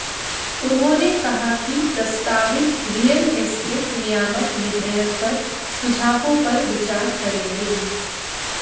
उन्होंने कहा कि प्रस्तावित रियल एस्टेट नियामक विधेयक पर सुझावों पर विचार करेंगे